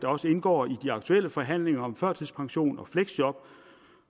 også indgår i de aktuelle forhandlinger om førtidspension og fleksjob